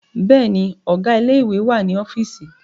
Bẹ́ẹ̀ni, Ọ̀gá ilé ìwé wà ní ọ́fíìsì